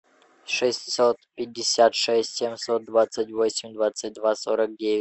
шестьсот пятьдесят шесть семьсот двадцать восемь двадцать два сорок девять